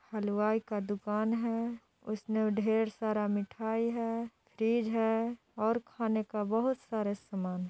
हलवाई का दुकान है इसमे ढेर सारा मिठाई है फ्रिज है और खाने का बहुत सारा समान--